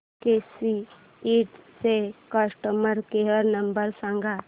केसी Ind चा customer care नंबर सांग